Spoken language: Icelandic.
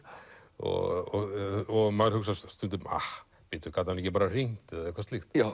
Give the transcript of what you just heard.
og maður hugsar stundum gat hann ekki bara hringt eða eitthvað slíkt